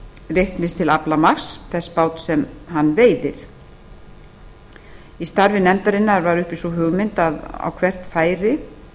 reiknist til aflamarks þess báts sem hann veiðir í starfi nefndarinnar var uppi sú hugmynd að á hvert færi